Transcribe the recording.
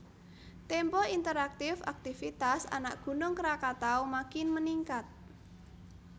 Tempo Interaktif Akitvitas Anak Gunung Krakatau Makin Meningkat